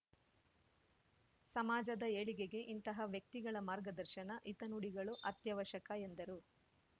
ಸಮಾಜದ ಏಳಿಗೆಗೆ ಇಂತಹ ವ್ಯಕ್ತಿಗಳ ಮಾರ್ಗದರ್ಶನ ಹಿತನುಡಿಗಳು ಅತ್ಯವಶ್ಯಕ ಎಂದರು